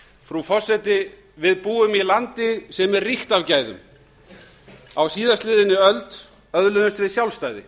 frú forseti við búum í landi sem er ríkt af gæðum á síðastliðinni öld öðluðumst við sjálfstæði